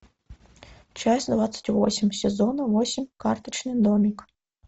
часть двадцать восемь сезона восемь карточный домик